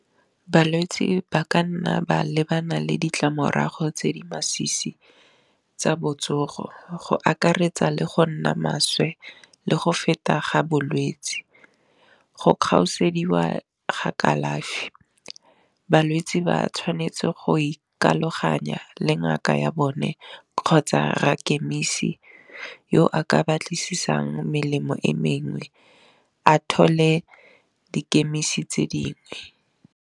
Balwetsi ba ka nna ba lebana le ditlamorago tse di masisi tsa botsogo, go akaretsa le go nna maswe le go feta ga bolwetsi, go kgaosediwa ga kalafi, balwetsi ba tshwanetse go ikaloganya le ngaka ya bone kgotsa rra chemise yo a ka ba tlisisang melemo e mengwe a thole dikhemisi tse dingwe.